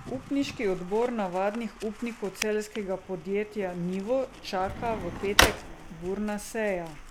Upniški odbor navadnih upnikov celjskega podjetja Nivo čaka v petek burna seja.